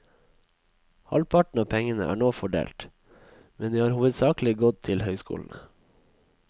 Halvparten av pengene er nå fordelt, men de har hovedsakelig gått til høyskolene.